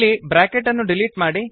ಇಲ್ಲಿ ಬ್ರಾಕೆಟ್ ಅನ್ನು ಡಿಲೀಟ್ ಮಾಡಿ